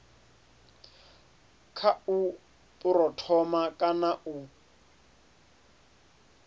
kha u phuromotha kana u